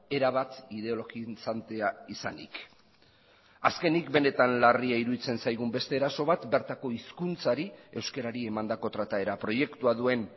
erabat ideologizantea izanik azkenik benetan larria iruditzen zaigun beste eraso bat bertako hizkuntzari euskarari emandako trataera proiektua duen